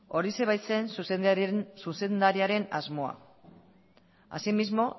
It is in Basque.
horixe baitzen zuzendariaren asmoa así mismo